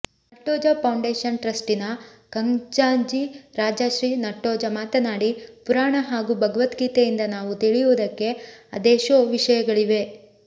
Nattoja foundation ಟ್ರಸ್ಟಿನ ಖಜಾಂಜಿ ರಾಜಶ್ರೀ ನಟ್ಟೋಜ ಮಾತನಾಡಿ ಪುರಾಣ ಹಾಗೂ ಭಗವದ್ಗೀತೆಯಿಂದ ನಾವು ತಿಳಿಯುವುದಕ್ಕೆ ಅದೆಷೋ ವಿಷಯಗಳಿವೆ